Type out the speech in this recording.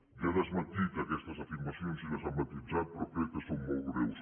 ja ha desmentit aquestes afirmacions i les ha matisat però crec que són molt greus